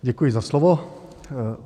Děkuji za slovo.